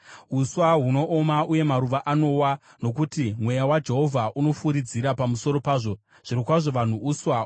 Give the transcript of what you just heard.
Uswa hunooma uye maruva anowa, nokuti mweya waJehovha unofuridzira pamusoro pazvo. Zvirokwazvo vanhu uswa.